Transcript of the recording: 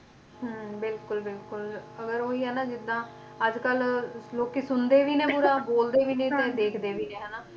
ਹੁੰ ਬਿਲਕੁਲ ਬਿਲਕੁਲ ਅਗਰ ਉਹੀ ਨਾ ਜਿਦਾਂ ਅੱਜ ਕੋਲ ਲੋਕੀ ਸੁਣਦੇ ਸੁਣਦੇ ਵੀ ਨੇ ਬੁਰੇ ਬੋਲਦੇ ਵੀ ਨੇ ਤੇ ਦੇਖਦੇ ਵੀ ਨੇ ਹਨਾਂ